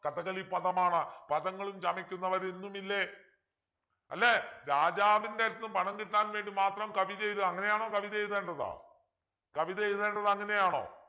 കഥകളി പദമാണ് പദങ്ങളും ചമയ്ക്കുന്നവർ ഇന്നുമില്ലേ അല്ലെ രാജാവിൻ്റെ അടുത്തുനിന്ന് പണം കിട്ടാൻ വേണ്ടി മാത്രം കവിത എഴുതുക അങ്ങനെയാണോ കവിത എഴുതേണ്ടത് കവിത എഴുതേണ്ടത് അങ്ങനെയാണോ